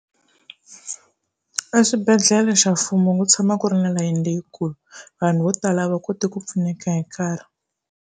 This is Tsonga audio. Eswibedhlele xa mfumo ku tshama ku ri na layeni leyikulu vanhu vo tala a va koti ku pfuneka hi nkarhi.